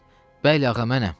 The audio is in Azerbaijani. Bəli, ağa mənəm.